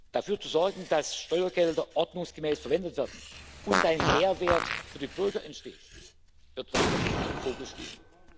Dafür zu sorgen, dass Steuergelder ordnungsgemäß verwendet werden und ein Mehrwert für die Bürger entsteht, wird weiterhin in unserem Fokus stehen.